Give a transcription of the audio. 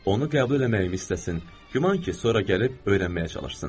Onu qəbul eləməyimi istəsin, güman ki, sonra gəlib öyrənməyə çalışsın.